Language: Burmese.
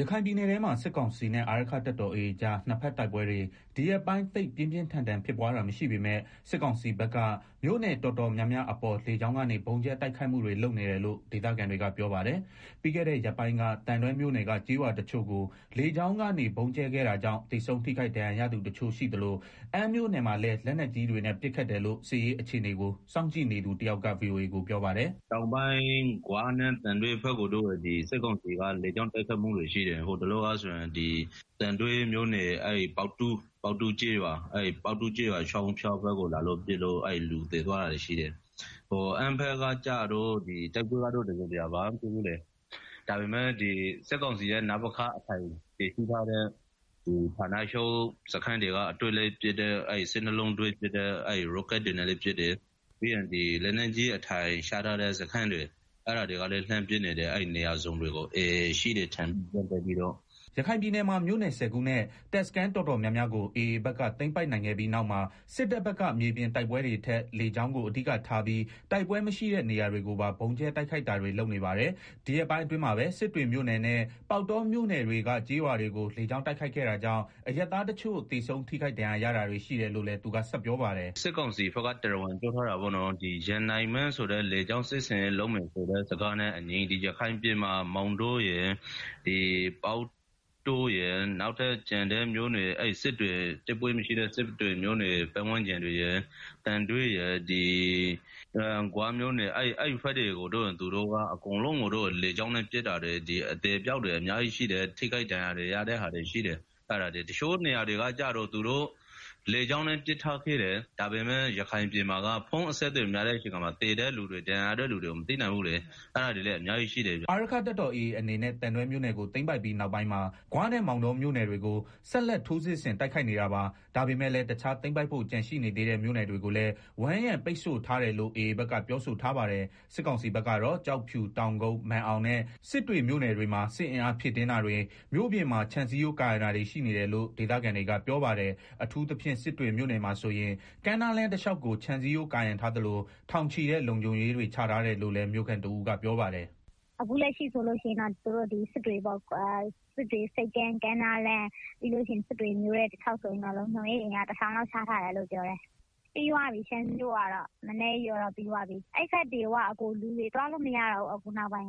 ရခိုင်ပြည်နယ်ထဲမှာ စစ်ကောင်စီနဲ့ အာရက္ခတပ်တော် AA ကြား နှစ်ဘက်တိုက်ပွဲတွေ ဒီရက်ပိုင်း သိပ်ပြင်းပြင်းထန်ထန်ဖြစ်ပွားတာမရှိပေမဲ့ စစ်ကောင်စီဘက်က မြို့နယ်တော်တော်များများအပေါ် လေကြောင်းကနေ ဗုံးကြဲတိုက်ခိုက်မှုတွေလုပ်နေတယ်လို့ ဒေသခံတွေက ပြောပါတယ်။ ပြီးခဲ့တဲ့ရက်ပိုင်းက သံတွဲမြို့နယ်က ကျေးရွာတချို့ ကိုလေကြောင်းကနေဗုံးကြဲခဲ့တာကြောင့် သေဆုံးထိခိုက်ဒဏ်ရာရသူတချို့ရှိသလို အမ်းမြို့ နယ်မှာလည်း လက်နက်ကြီးတွေနဲ့ ပစ်ခတ်တယ်လို့ စစ်ရေးအခြေအနေကို စောင့်ကြည့်နေသူ တယောက်က ဗွီအိုအေကို ပြောပါတယ်။ “တောင်ပိုင်းဂွနဲ့ သံတွဲဘက်မှာတော့ စစ်ကောင်စီက လေကြောင်းတိုက်ခိုက်မှုတွေရှိတယ်၊ ဟိုတလောက ဆိုရင် သံတွဲမြို့နယ် ပေါက်တော ကျေးရွာချောင်းဖျားဘက်ကို လာပစ်လို့ လူသေသွားတာတွေရှိတယ်။ အမ်းဘက်မှာတော့ တိုက်ပွဲ တစုံတရာ ဖြစ်တာမရှိသေးဘူး။ ဒါပေမယ့် စစ်ကောင်စီရဲ့ နပခ ဌာနချုပ် စခန်းတွေက အတွဲလိုက် ၁၂ လုံးရော့ကဒ်တွေနဲ့ ပစ်တယ်၊ ပြီးတော့ လက်နက်ကြီး အထိုင်ချထားတဲ့ စခန်းတွေကနေ အဲဒီကလည်းနေရာစုံကို လှမ်းပစ်နေတယ်၊ AA ရှိမယ်လို့ ထင်တဲ့နေရာတွေကိုပေါ့။” ရခိုင်ပြည်နယ်မှာ မြို့နယ် ၁ဝ ခုနဲ့ တပ်စခန်းတော်တော်များများကို AA ဘက်က သိမ်းပိုက်နိုင်ခဲ့ပြီးနောက်မှာ စစ်တပ်ဘက်က မြေပြင်တိုက်ပွဲတွေထက် လေကြောင်းကိုအဓိကထားပြီး တိုက်ပွဲမရှိတဲ့ နေရာတွေကိုပါ ဗုံးကြဲတိုက်ခိုက်တာတွေလုပ်နေပါတယ်။ ဒီရက်ပိုင်းအတွင်းမှာပဲ စစ်တွေမြို့နယ်နဲ့ ပေါက်တောမြို့နယ်တွေကို ကျေးရွာတွေကို လေကြောင်းတိုက်ခိုက်ခဲ့တာကြောင့် အရပ်သားတချို့ သေဆုံးထိခိုက်ဒဏ်ရာရ တာတွေရှိတယ်လို့လည်း သူကဆက်ပြောပါတယ်။ “စစ်ကောင်စီဘက်က တရားဝင်ပြောထားတာပေါ့နော် ရန်နိုင်မင်းဆိုတဲ့ လေကြောင်း စစ်ဆင်ရေးလုပ်မယ်ဆိုတဲ့ စကားနဲ့အညီ ရခိုင်ပြည်နယ်က မောင်တောရယ် ပေါက်တောရယ် တိုက်ပွဲမရှိတဲ့ စစ်တွေ မြို့နယ် ပတ်ဝန်းကျင်တွေရယ် သံတွဲ နဲ့ ဂွမြို့နယ် ဘက်တွေကို သူတို့က အကုန်လုံးလေကြောင်းနဲ့ ပစ်တာတွေ အသေအပျောက်တွေ အများကြီးရှိတယ်၊ ထိခိုက်ဒဏ်ရာရတာတွေရှိတယ်။ တချို့နေရာတွေက သူတို့ လေကြောင်းက ပစ်ထားခဲ့တယ် ဒါပေမယ့် ရခိုင်ပြည်နယ်မှာ ဖုန်းလိုင်းမရတဲ့ အခါမှာ သေတဲ့ သူတွေ ဒဏ်ရာရတဲ့ သူတွေကို မသိနိုင်ဘူးလေ၊ အဲတာတွေလည်းအများကြီးရှိတယ်ဗျ။” အာရက္ခတပ်တော် AA အနေနဲ့ သံတွဲမြို့နယ်ကို သိမ်းပိုက်ပြီးနောက်ပိုင်းမှာ ဂွနဲ့ မောင်တောမြို့နယ်တွေကို ဆက်လက် ထိုးစစ်ဆင်တိုက်ခိုက်နေတာပါ။ ဒါပေမယ့်လည်း တခြားသိမ်းပိုက်ဖို့ကျန်ရှိနေသေးတဲ့ မြို့နယ်တွေကိုလည်း ဝန်းရုံပိတ်ဆို့ထားတယ်လို့ AA ဘက်ကပြောဆိုထားပါတယ်။ စစ်ကောင်စီဘက်ကတော့ ကျောက်ဖြူ၊ တောင်ကုတ်၊ မာန်အောင်နဲ့ စစ်တွေမြို့နယ်တွေမှာ စစ်အင်အားဖြည့်တင်းတာတွေ မြို့ပြင်မှာ ခြံစည်းရိုးကာရံတာတွေရှိနေတယ်လို့ ဒေသခံတွေကပြောပါတယ်။ အထူးသဖြင့် စစ်တွေမြို့နယ်မှာဆိုရင် ကမ်းနားလမ်းတလျှောက်ကို ခြံစည်းရိုးကာရံထားသလို ထောင်ချီတဲ့ လုံခြုံရေးတွေချထားတယ်လို့လည်း မြို့ခံတဦးကပြောပါတယ်။ “ အခုလက်ရှိမှာတော့ စစ်တွေ ဆိပ်ကမ်း ကမ်းနားလမ်း၊ ပြီးတော့ စစ်တွေ မြို့ထဲတလျာက် ဆိုရင် လုံခြုံရေး အင်အား၊ တထောင်လောက် ချထားတယ်လို့ ပြောတယ်၊ ခြံစည်းရိုးကာတာ လည်းပြီးသွားပြီ၊ ပြီးတော့ အဲဒီဘက်တွေကို လူတွေ သွားလို့မရတော့ဘူး၊ လုံ